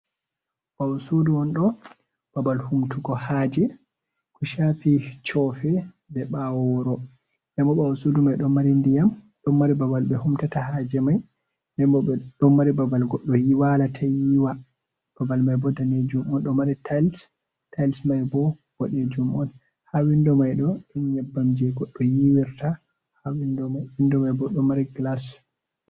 Ɓawo sudu on ɗo babal humtugo haje kushafi chofe be ɓawo wuro. Ndenbo ɓawo sudu mai ɗo mari ndiyam, ɗon mari babal ɓe humtata haje mai, ndenbo ɓeɗon mari babal godɗo walata yiwa babal mai bo danejum on ɗomari tayls, tayls mai bo boɗejum on, ha windo maiɗo ɗum nyebbam je godɗo yiwirta ha windo mai bo ɗo mari glas.